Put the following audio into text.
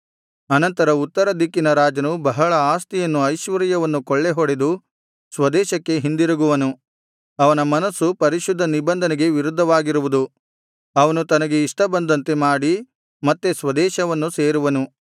ಅನಂತರ ಉತ್ತರ ದಿಕ್ಕಿನ ರಾಜನು ಬಹಳ ಆಸ್ತಿಯನ್ನು ಐಶ್ವರ್ಯವನ್ನು ಕೊಳ್ಳೆಹೊಡೆದು ಸ್ವದೇಶಕ್ಕೆ ಹಿಂದಿರುಗುವನು ಅವನ ಮನಸ್ಸು ಪರಿಶುದ್ಧ ನಿಬಂಧನೆಗೆ ವಿರುದ್ಧವಾಗಿರುವುದು ಅವನು ತನಗೆ ಇಷ್ಟ ಬಂದಂತೆ ಮಾಡಿ ಮತ್ತೆ ಸ್ವದೇಶವನ್ನು ಸೇರುವನು